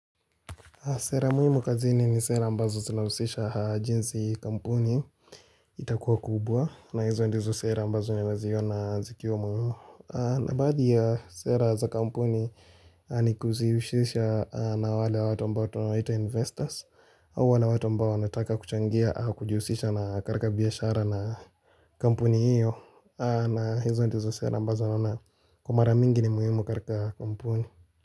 Sera muhimu kazini ni sera ambazo zinahusisha jinsi kampuni itakuwa kubwa na hizo ndizo sera ambazo ninaziona zikiwa muhimu. Na baadhi ya sera za kampuni ni kuzihusisha na wale watu ambao tunawaita investors hawa huwa ni watu ambao wanataka kuchangia au kujihusisha na katika biashara na kampuni hiyo na hizo ndizo sera ambazo naona kwa mara mingi ni muhimu katika kampuni.